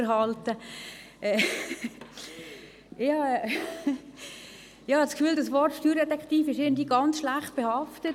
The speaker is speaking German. Ich glaube, das Wort Steuerdetektiv ist irgendwie ganz negativ behaftet.